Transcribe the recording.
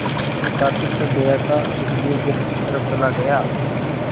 मैं काफ़ी थक गया था इसलिए घर की तरफ़ चला गया